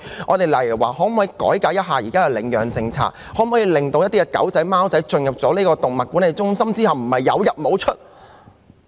又例如可否改革現時的領養政策，令貓狗進入動物管理中心後，不會是"有入無出"？